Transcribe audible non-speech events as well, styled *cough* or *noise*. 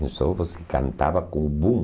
*unintelligible* você cantava com o boom.